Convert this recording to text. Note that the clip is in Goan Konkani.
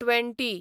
ट्वॅण्टी